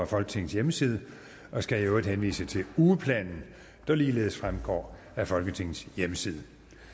folketingets hjemmeside og skal i øvrigt henvise til ugeplanen der ligeledes fremgår af folketingets hjemmeside